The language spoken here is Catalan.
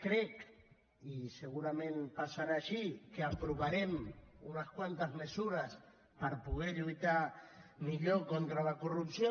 crec i segurament passarà així que aprovarem unes quantes mesures per poder lluitar millor contra la corrupció